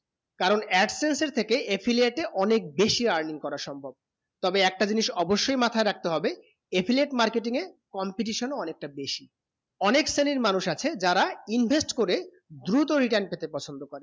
কারণ absence এর থেকে affiliate এ অনেক বেশি earning করা সম্ভব তবে একটা জিনিস অবসয়ে মাথায় রাখতে হবে affiliate marketing এ competition ও অনেক তা বেশি অনেক শ্রেণী মানুষ আছে যারা invest করে ধুরুত return পেতে পছন্দ করে